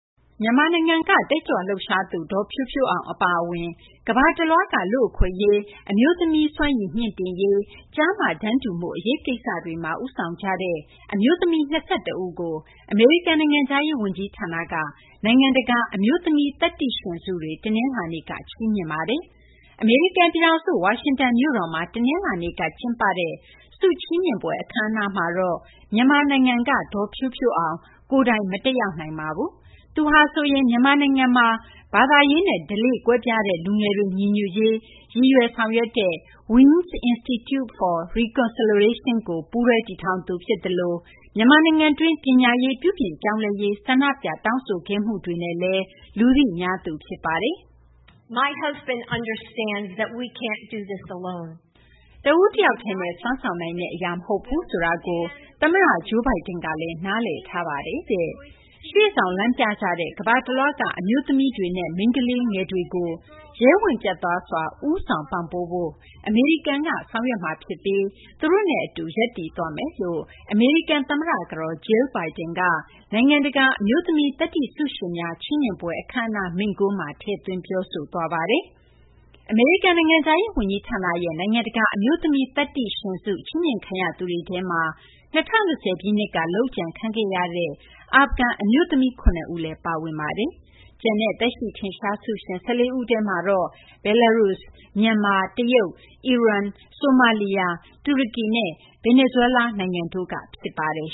မြန်မာနိုင်ငံက တက်ကြွလှုပ်ရှားသူ ဒေါ်ဖြိုးဖြိုးအောင် အပါအဝင် ကမ္ဘာတလွှားက လူ့အခွင့်အရေး၊ အမျိုးသမီးတွေ စွမ်းရည်မြှင့်တင်ရေး၊ ကျားမ တန်းတူမှု အရေးကိစ္စတွေမှာ ဦးဆောင်နေကြတဲ့ အမျိုးသမီး ၂၁ ဦးကို အမေရိကန် နိုင်ငံခြားရေးဝန်ကြီး ဌာနက နိုင်ငံတကာ အမျိုးသမီး သတ္တိရှင်ဆုတွေ တနလာၤနေ့က ချီးမြှင့်ပါတယ်။ အမေရိကန် ပြည်ထောင်စု ဝါရှင်တန် မြို့တော်မှာ တနလာၤနေ့ ကျင်းပတဲ့ ဆုချီးမြှင့်ပွဲ အခမ်းအနားကိုတော့ မြန်မာနိုင်ငံက ဒေါ်ဖြိုးဖြိုးအောင် ကိုယ်တိုင် မတက်ရောက်နိုင်ခဲ့ပါဘူး။ သူဟာဆိုရင် မြန်မာနိုင်ငံမှာ ဘာသာရေးနဲ့ ဓလေ့ ကွဲပြားတဲ့ လူငယ်တွေ ညီညွတ်ရေး ရည်ရွယ်ဆောင်ရွက်နေတဲ့ Wings Institute for Reconciliation ကို ပူးတွဲတည်ထောင်သူ ဖြစ်သလို မြန်မာနိုင်ငံတွင်း ပညာရေး ပြုပြင်ပြောင်းလဲရေး ဆန္ဒပြ တောင်းဆိုခဲ့မှုတွေနဲ့လည်း လူသိများသူ ဖြစ်ပါတယ်။ “တဦးတယောက်တည်းနဲ့ စွမ်းဆောင်နိုင်တဲ့ အရာ မဟုတ်ဘူးဆိုတာကို ခင်ပွန်းဖြစ်သူ သမ္မတ Joe Biden က နားလည်ထားပါတယ်တဲ့။ ရှေ့ဆောင် လမ်းပြကြတဲ့ ကမ္ဘာတလွှားက အမျိုးသမီးတွေနဲ့ မိန်းကလေးငယ်တွေကို ရဲဝံ့ ပြတ်သားစွာ ဦးဆောင် ပံ့ပိုးဖို့ အမေရိကန်တွေက ဆောင်ရွက်မှာ ဖြစ်ပြီး သူတို့နဲ့ အတူ ရပ်တည်သွားမယ်” လို့ သမ္မတ ကတော် Jill Biden နိုင်ငံတကာ အမျိုးသမီး သတ္တိဆုရှင်များ ချီးမြှင့်ပွဲ အခမ်းအနားမိန့်ခွန်းမှာ ထည့်သွင်း ပြောဆိုခဲ့ပါတယ်။ အမေရိကန် နိုင်ငံခြားရေး ဝန်ကြီးဌာနရဲ့ နိုင်ငံတကာ အမျိုးသမီး သတ္တိရှင်ဆု ချီးမြှင့်ခံရသူတွေထဲမှာ ၂၀၂၀ ပြည့်နှစ်က လုပ်ကြံခံခဲ့ရသူ အာဖဂန် အမျိုးသမီး ၇ ဦးလည်း ပါဝင်ပါတယ်။ ကျန်တဲ့ သက်ရှိ ထင်ရှား ဆုရှင် ၁၄ ဦးထဲမှာတော့ Belarus ၊ မြန်မာ၊ တရုတ်၊ အီရန်၊ ဆိုမာလီယာ၊ တူရကီနဲ့ ဗင်နီဇွဲလား နိုင်ငံတွေက ဖြစ်ပါတယ်